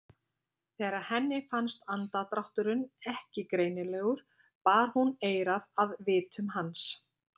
Þegar henni fannst andardrátturinn ekki greinilegur bar hún eyrað að vitum hans.